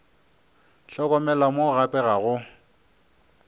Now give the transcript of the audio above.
hlokomela mo gape ga go